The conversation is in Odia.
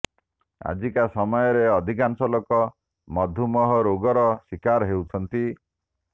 ଆଜିକା ସମୟରେ ଅଧିକାଂଶ ଲୋକ ମଧୁମେହ ରୋଗର ଶିକାର ହେଉଛନ୍ତି